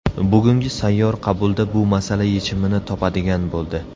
Bugungi sayyor qabulda bu masala yechimini topadigan bo‘ldi.